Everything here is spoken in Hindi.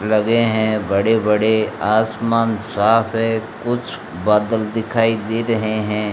लगे हैं बड़े बड़े आसमान साफ है कुछ बदल दिखाई दे रहे हैं।